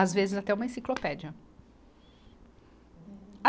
Às vezes, até uma enciclopédia.